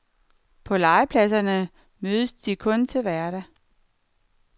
På legepladserne mødes de kun til hverdag.